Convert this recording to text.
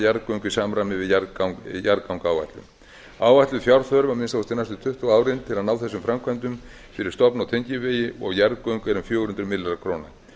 jarðgöng í samræmi við jarðgangaáætlun áætluð fjárþörf að minnsta kosti næstu tuttugu árin til að ná þessum framkvæmdum fyrir stofn og tengivegi og jarðgöng er um fjögur hundruð milljóna króna